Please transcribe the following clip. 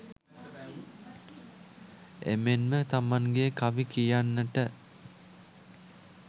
එමෙන්ම තමන්ගේ කවි කියන්නට